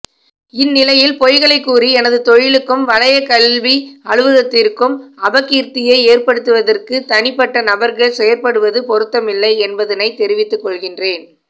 இந்நிலையில் பொய்களைக்கூறி எனது தொழிலுக்கும் வலயக்கல்வி அலுவலகத்திற்கும் அபகீர்த்தியை ஏற்படுத்துவதற்கு தனிப்பட்ட நபர்கள் செயற்படுவது பொருத்தமில்லை என்பதனைத் தெரிவித்துக் கொள்கின்றேன்